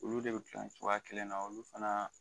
Olu de be gilan cogoya kelen na olu fana